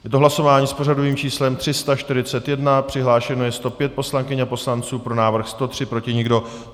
Je to hlasování s pořadovým číslem 341, přihlášeno je 105 poslankyň a poslanců, pro návrh 103, proti nikdo.